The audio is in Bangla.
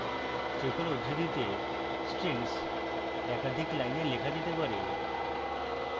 triple উদ্ধৃতিতে strings একাধিক lines লেখা যেতে পারে